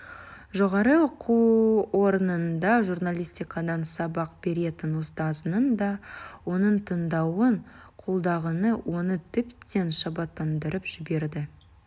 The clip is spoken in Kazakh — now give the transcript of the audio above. жоғары оқу орнында журналистикадан сабақ беретін ұстазының да оның таңдауын қолдағаны оны тіптен шабыттандырып жіберді